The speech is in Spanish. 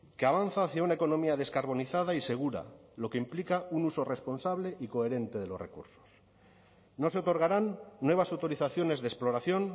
que avanza hacia una economía descarbonizada y segura lo que implica un uso responsable y coherente de los recursos no se otorgarán nuevas autorizaciones de exploración